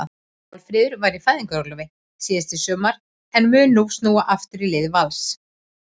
Málfríður var í fæðingarorlofi síðastliðið sumar en mun nú snúa aftur í lið Vals.